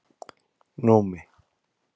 Númi